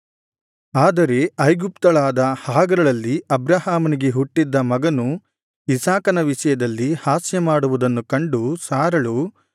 ಆದರೆ ಐಗುಪ್ತಳಾದ ಹಾಗರಳಲ್ಲಿ ಅಬ್ರಹಾಮನಿಗೆ ಹುಟ್ಟಿದ್ದ ಮಗನು ಇಸಾಕನ ವಿಷಯದಲ್ಲಿ ಹಾಸ್ಯಮಾಡುವುದನ್ನು ಕಂಡು ಸಾರಳು